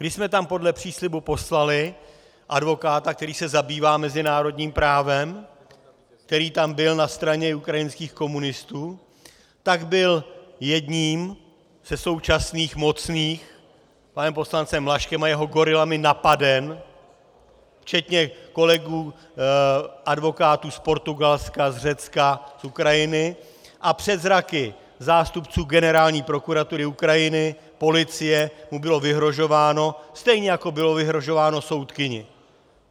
Když jsme tam podle příslibu poslali advokáta, který se zabývá mezinárodním právem, který tam byl na straně ukrajinských komunistů, tak byl jedním ze současných mocných panem poslancem Ljaškem a jeho gorilami napaden, včetně kolegů advokátů z Portugalska, z Řecka, z Ukrajiny, a před zraky zástupců Generální prokuratury Ukrajiny, policie mu bylo vyhrožováno, stejně jako bylo vyhrožováno soudkyni.